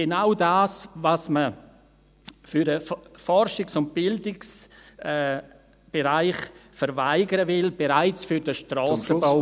Denn genau das, was man für den Forschungs- und Bildungsbereich verweigern will , besteht bereits für den Strassenbau.